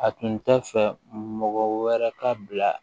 A tun tɛ fɛ mɔgɔ wɛrɛ ka bila